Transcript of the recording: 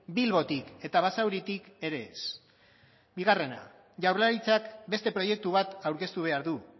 bilbotik eta basauritik ere ez bigarrena jaurlaritzak beste proiektu bat aurkeztu behar du